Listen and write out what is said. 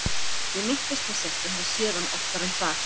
Ég minntist þess ekki að hafa séð hann oftar en það.